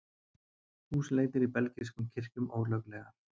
Húsleitir í belgískum kirkjum ólöglegar